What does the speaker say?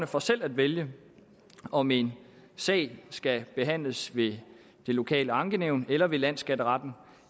for selv at vælge om en sag skal behandles ved det lokale ankenævn eller ved landsskatteretten